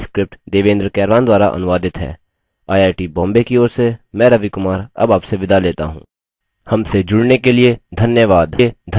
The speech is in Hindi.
यह स्क्रिप्ट देवेन्द्र कैरवान द्वारा अनुवादित है आई आई टी बॉम्बे की ओर से मैं रवि कुमार अब आपसे विदा लेता हूँ हमसे जुड़ने के लिए धन्यवाद